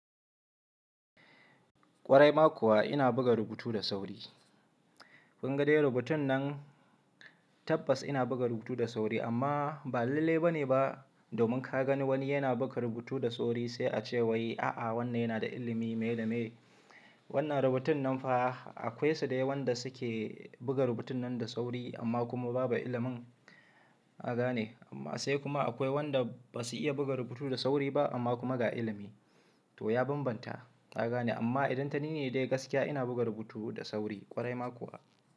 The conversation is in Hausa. Kwarai ma kuwa ina buga rubutu da sauri. Kun ga dai rubutun nan tabbas ina buga rubutu da sauri amma ba lalle ba ne ba domin ka gani wani yana buga rubutu da sauri sai a ce wai a'a wannan yana da ilimi me da me. Wannan rubutun nan fa akwai su dayawa wanda suke buga rubutun nan da sauri amma kuma babu ilimin aga ne amma sai kuma akwai wanda ba su iya buga rubutu da sauri ba amma kuma ga ilimi. To ya bambanta aga ne amma idan tani ne dai gaskiya ina buga rubutu da sauri kwarai ma kuwa.